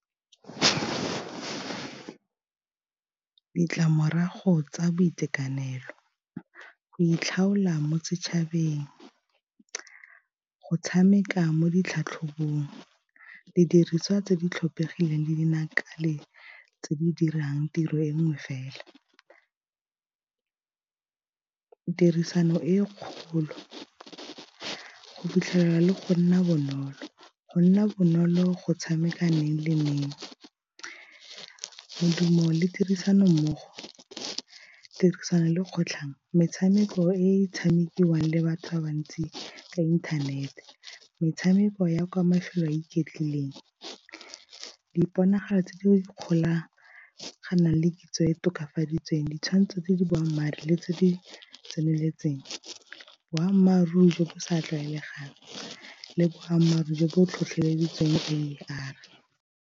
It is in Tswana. Ditlamorago tsa boitekanelo go itlhaola mo setšhabeng, go tshameka mo ditlhatlhobong, didiriswa tse di tlhomphegileng dinaka le tse di dirang tiro e nngwe fela, tirisano e kgolo, go fitlhelela le go nna bonolo, go nna bonolo go tshameka , modumo le tirisano mmogo, tirisano le kgotlhang, metshameko e tshamekiwang le batho ba bantsi ka inthanete, metshameko ya kwa mafelo a iketlileng, diponagalo tse di ikgolaganang le kitso e e tokafaditsweng, di tshwanetse di di boammaaruri le tse di tseneletseng, boammaaruri jo bo sa tlwaelegang le boammaaruri jo bo tlhotlheleditseng A_R.